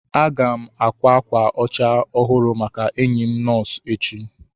Aga m ákwá ákwà ọcha ọhụrụ maka enyi m nọọsụ echi.